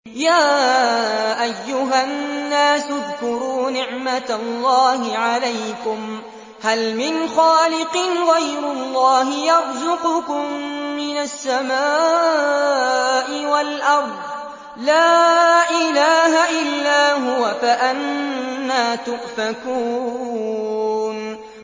يَا أَيُّهَا النَّاسُ اذْكُرُوا نِعْمَتَ اللَّهِ عَلَيْكُمْ ۚ هَلْ مِنْ خَالِقٍ غَيْرُ اللَّهِ يَرْزُقُكُم مِّنَ السَّمَاءِ وَالْأَرْضِ ۚ لَا إِلَٰهَ إِلَّا هُوَ ۖ فَأَنَّىٰ تُؤْفَكُونَ